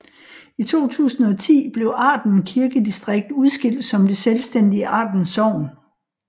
I 2010 blev Arden Kirkedistrikt udskilt som det selvstændige Arden Sogn